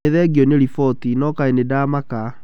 Nĩ thengio nĩ riboti, no kaĩ nĩ ndamaka.